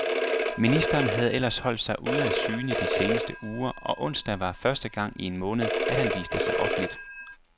Ministeren har ellers holdt sig ude af syne i de seneste uger, og onsdag var første gang i en måned, at han viste sig offenligt.